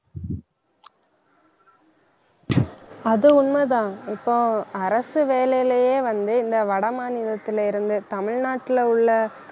அது உண்மைதான் இப்போ அரசு வேலையிலேயே வந்து, இந்த வட மாநிலத்தில இருந்து தமிழ்நாட்டுல உள்ள